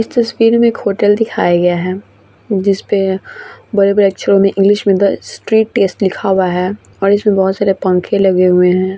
इस तस्वीर में एक होटल दिखाई गया है जिसपे बड़े-बड़े अक्षरों में इंग्लिश में द स्ट्रीट टेस्ट लिखा हुआ है और इसमें बहुत सारे पंखे लगे हुए हैं |